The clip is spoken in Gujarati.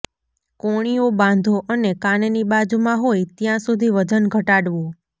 કોણીઓ બાંધો અને કાનની બાજુમાં હોય ત્યાં સુધી વજન ઘટાડવો